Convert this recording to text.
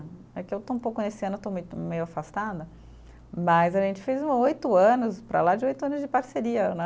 É que eu estou um pouco nesse ano, eu estou muito, meio afastada, mas a gente fez uma oito anos, para lá de oito anos de parceria, né?